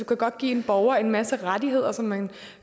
kan godt give en borger en masse rettigheder som man